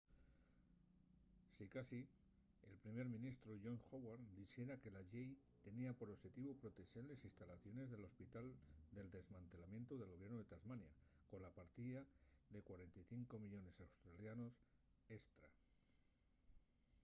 sicasí el primer ministru john howard dixera que la llei tenía por oxetivu protexer les instalaciones del hospital del desmantelamientu del gobiernu de tasmania cola partida de 45 millones aud$ estra